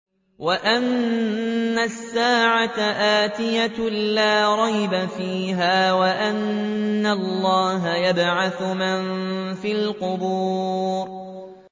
وَأَنَّ السَّاعَةَ آتِيَةٌ لَّا رَيْبَ فِيهَا وَأَنَّ اللَّهَ يَبْعَثُ مَن فِي الْقُبُورِ